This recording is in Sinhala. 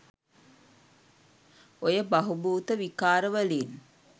ඔය බහුබූත විකාර වලින්